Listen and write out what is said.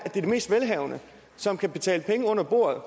de mest velhavende som kan betale penge under bordet